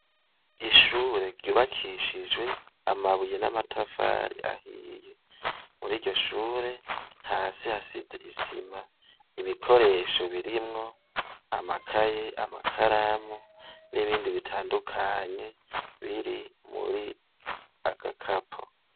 Ishure ryubakishijwe amabuye n'amatafari ahiye muri iryo shure hasi hasize isima ibikoresho birimwo amakaye amakaramu n'ibindi bitandukanye biri muri agakapo.